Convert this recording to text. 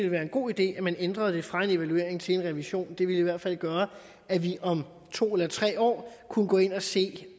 være en god idé at man ændrede det fra en evaluering til en revision det er vi i hvert fald gøre at vi om to eller tre år kunne gå ind og se